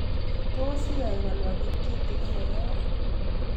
Tos iyai ko nwakit kitikin eng ane